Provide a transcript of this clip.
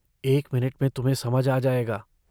एक मिनट में तुम्हें समझ आ जाएगा।